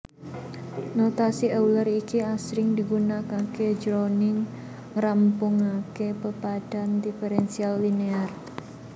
Notasi Euler iki asring digunakaké jroning ngrampungaké pepadhan diferensial linear